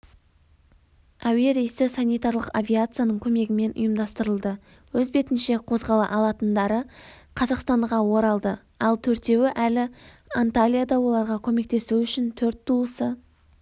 әуе рейсі санитарлық авиацияның көмегімен ұйымдастырылды өз бетінше қозғала алатындары қазақстанға оралды ал төртеуі әлі анталияда оларға көмектесу үшін төрт туысы